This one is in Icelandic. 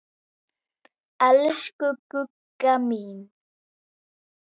Elsku Gugga mín.